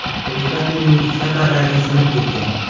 Dvigatelning ikkita parragi sinib ketgan.